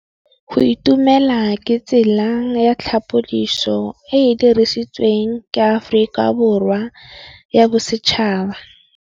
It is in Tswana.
Go itumela ke tsela ya tlhapolisô e e dirisitsweng ke Aforika Borwa ya Bosetšhaba.